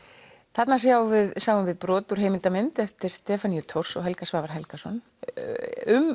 þarna sjáum við sjáum við brot úr heimildarmynd eftir Stefaníu Thors og Helga Svavar Helgason um